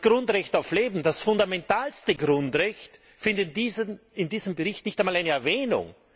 Das Grundrecht auf Leben, das fundamentalste Grundrecht, findet in diesem Bericht nicht einmal Erwähnung!